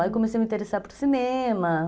Aí eu comecei a me interessar por cinema.